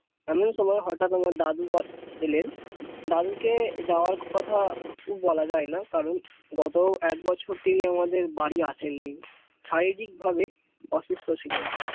এমন সময় হঠাৎ আমার দাদু এলেন দাদুকে যাওয়ার কথা বলা যায় না কারণ গত এক বছর তিনি আমাদের বাড়ি আসেননি শারীরিকভাবে অসুস্থ ছিলেন